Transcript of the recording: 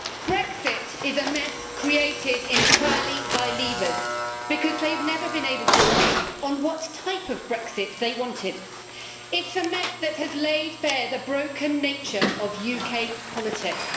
Brexit is a mess created entirely by leavers because they've never been able to agree on what type of Brexit they wanted. It's a mess that has laid bare the broken nature of UK politics.